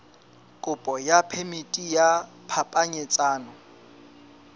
kopo ya phemiti ya phapanyetsano